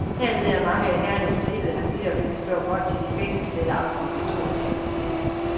Hernede er mange af herrerne i stribede habitter, hvilket står godt til de fængselscelleagtige kontorlokaler.